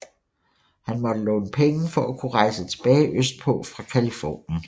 Han måtte låne penge for at kunne rejse tilbage østpå fra Californien